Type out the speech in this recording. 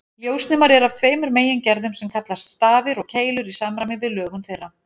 Ljósnemar eru af tveimur megingerðum sem kallast stafir og keilur í samræmi við lögun þeirra.